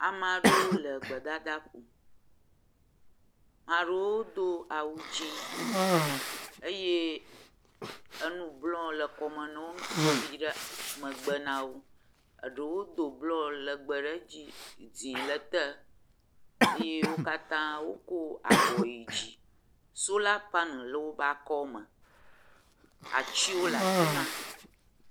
Ame aɖewo le gbedadaƒo. Ame aɖewo do awu dzĩ eye enu blɔ le kɔme yi ɖe megbe na wo. Aɖewo do blɔ legbe ɖe edzi, dzĩ le te eye wo katã wokɔ abɔ yi dzi. Sola paneli le woƒe akɔme. Atsiwo le afi ma